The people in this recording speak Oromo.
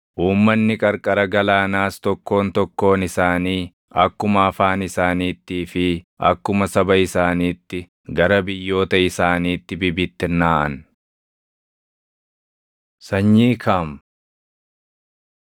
Uummanni qarqara galaanaas tokkoon tokkoon isaanii akkuma afaan isaaniittii fi akkuma saba isaaniitti gara biyyoota isaaniitti bibittinnaaʼan. Sanyii Kaam 10:6‑20 kwf – 1Sn 1:8‑16